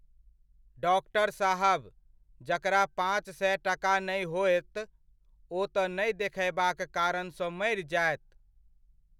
Doctor साहब, जकरा पाँच सए टका नहि होयत, ओ तऽ नहि देखयबाक कारणसँ मरि जायत।